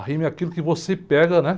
A rima é aquilo que você pega, né?